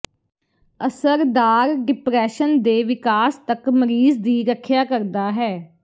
ਅਸਰਦਾਰ ਡਿਪਰੈਸ਼ਨ ਦੇ ਵਿਕਾਸ ਤੱਕ ਮਰੀਜ਼ ਦੀ ਰੱਖਿਆ ਕਰਦਾ ਹੈ